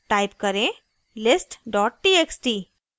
type करें list txt